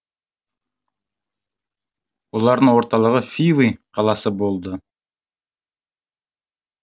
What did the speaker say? олардың орталығы фивы қаласы болды